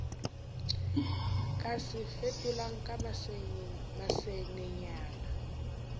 ka se fetolang ka masenenyana